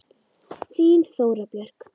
Þín Þóra Björk.